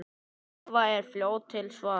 Eva er fljót til svars.